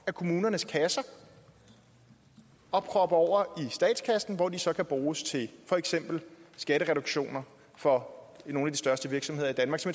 af kommunernes kasser og proppe over i statskassen hvor de så kan bruges til for eksempel skattereduktioner for nogle af de største virksomheder i danmark så